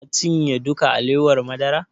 Ka cinye duka alewar madara?